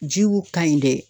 Jiw kaɲi dɛ